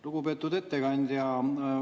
Lugupeetud ettekandja!